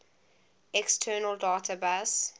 external data bus